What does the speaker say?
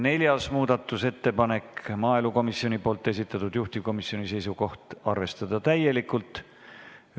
Neljas muudatusettepanek, maaelukomisjoni esitatud, juhtivkomisjoni seisukoht: arvestada täielikult.